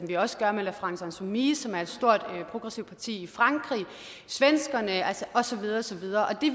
vi også gør med la france insoumise som er et stort progressive parti i frankrig svenskerne og så videre og så videre det